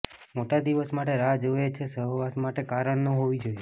મોટા દિવસ માટે રાહ જુએ છે સહવાસ માટે કારણ ન હોવી જોઈએ